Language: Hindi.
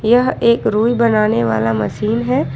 यह एक रुई बनाने वाला मशीन है।